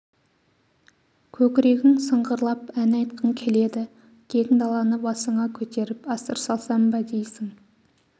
көкрегің сыңғырлап ән айтқың келеді кең даланы басыңа көтеріп асыр салсам ба дейсің